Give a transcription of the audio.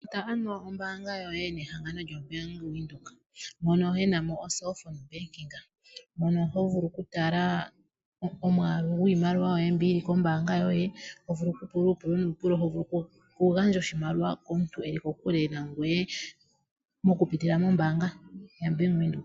Futa ano ombaanga yoye nehangano lyo Bank Windhoek mono yena mo o'cellphone banking', mono ho gulu okutala omwaalu gwiimaliwa yoye mbi yili kombaanga yoye, ho vulu okugandja oshimaliwa komuntu eli kokuke nangoye, mokupitila mombaanga ya Bank Windhoek.